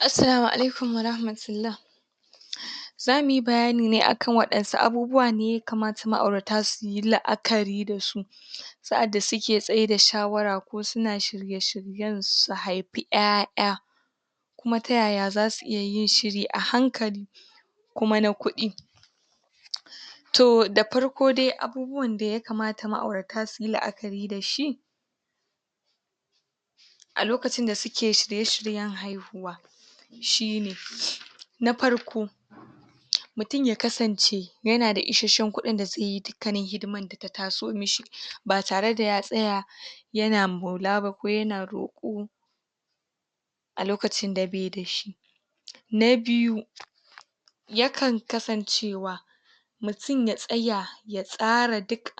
Assalamu Alaikum Warahmatullah za mu yi bayani ne a kan waɗansu abubuwa ne ma'aurata yakamata su yi la'akari da su sa'ar da suke tsaida shawara ko suna shirye shiryen su haifi ya'ya kuma tayaya za su iya yin shiri a hankali kuma na kuɗi? to da farko dai abubuwan da yakamata ma'aurata suyi la'akari da shi a lokacin da suke shirye shiryen haihuwa shine nafarko mutum ya kasance yana da isasshen kuɗin da zai yi dukkanin hidimar da ta taso mishi ba tare da ya tsaya yana maula ko yana roƙo a lokacin da bai da shi na biyu ya kan kasancewa mutum ya tsaya ya tsara duk